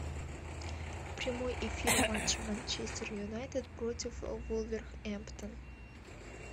прямой эфир матча манчестер юнайтед против вулверхэмптон